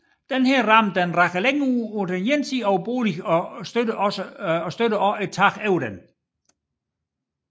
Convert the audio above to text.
Denne ramme rager længere ud til den ene side over boligen og støtter også taget over den